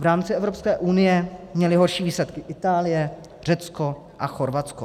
V rámci Evropské unie měly horší výsledky Itálie, Řecko a Chorvatsko.